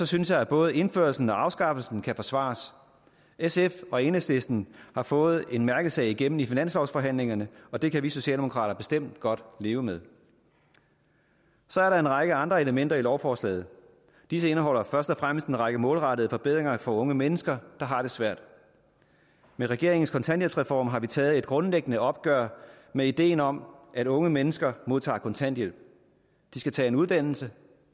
synes jeg at både indførelsen og afskaffelsen kan forsvares sf og enhedslisten har fået en mærkesag igennem i finanslovsforhandlingerne og det kan vi socialdemokrater bestemt godt leve med så er der en række andre elementer i lovforslaget disse indeholder først og fremmest en række målrettede forbedringer for unge mennesker der har det svært med regeringens kontanthjælpsreform har vi taget et grundlæggende opgør med ideen om at unge mennesker modtager kontanthjælp de skal tage en uddannelse